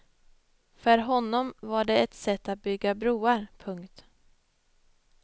För honom var den ett sätt att bygga broar. punkt